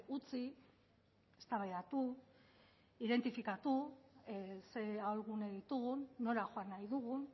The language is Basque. utzi eztabaidatu identifikatu zein ahulgune ditugun nora joan nahi dugun